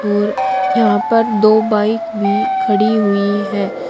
और यहां पर दो बाइक भी खड़ी हुई है।